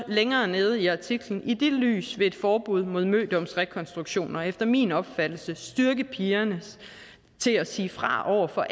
længere nede i artiklen i det lys vil et forbud mod mødomsrekonstruktioner efter min opfattelse styrke pigerne til at sige fra over for